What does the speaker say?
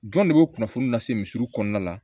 Jɔn de bɛ kunnafoni lase misiw kɔnɔna la